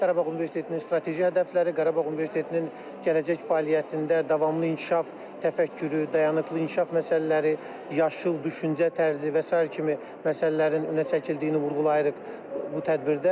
Qarabağ Universitetinin strateji hədəfləri, Qarabağ Universitetinin gələcək fəaliyyətində davamlı inkişaf, təfəkkürü, dayanıqlı inkişaf məsələləri, yaşıl düşüncə tərzi və sair kimi məsələlərin önə çəkildiyini vurğulayırıq bu tədbirdə.